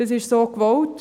Das ist so gewollt.